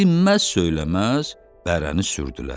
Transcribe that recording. Dinməz-söyləməz bərəni sürdülər.